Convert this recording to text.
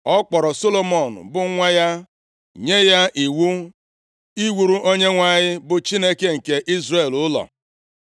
Ọ kpọrọ Solomọn, bụ nwa ya, nye ya iwu iwuru Onyenwe anyị, bụ Chineke nke Izrel ụlọ.